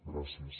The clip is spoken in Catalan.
gràcies